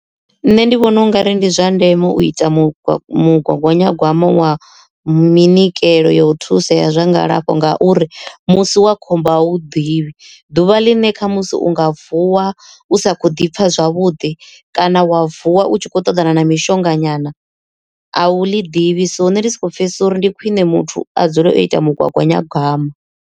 Nṋe ndi vhona ungari ndi zwa ndeme u ita mugaganyagwama wa minyikelo ya u thusea zwa ngalafho nga uri musi wa khombo a wu u ḓivhi ḓuvha ḽine kha musi u u nga vuwa u sa kho ḓi pfha zwavhuḓi, kana wa vuwa u tshi khou ṱoḓana na mishonga nyana a wu ḽi ḓivhi. So hune ndi soko pfhesesa uri ndi khwiṋe muthu a dzule o ita mugaganyagwama.